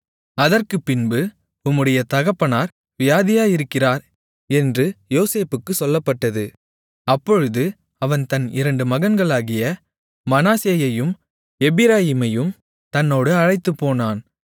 அதற்குப்பின்பு உம்முடைய தகப்பனார் வியாதியாயிருக்கிறார் என்று யோசேப்புக்குச் சொல்லப்பட்டது அப்பொழுது அவன் தன் இரண்டு மகன்களாகிய மனாசேயையும் எப்பிராயீமையும் தன்னோடு அழைத்துப்போனான்